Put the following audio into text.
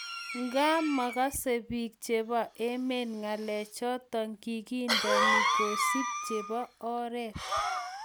ingaa magasei biik chebo emet ngalek choto kigendeno kesup chebo oret